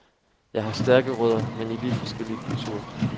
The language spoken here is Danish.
Jeg har stærke rødder, men i vidt forskellige kulturer.